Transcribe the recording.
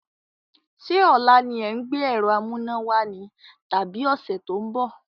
Sé ọ̀la ni ẹ̀ ń gbé ẹ̀rọ amúnáwá ni tàbí ọ̀sẹ̀ tó ń bọ̀?